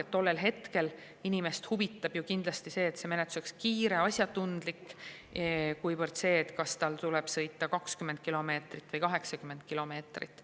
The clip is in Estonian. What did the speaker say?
Tollel hetkel inimest huvitab ju kindlasti see, et menetlus oleks kiire ja asjatundlik, mitte see, kas tal tuleb sõita 20 kilomeetrit või 80 kilomeetrit.